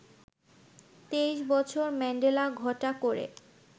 ২৩ বছর ম্যান্ডেলা ঘটা করে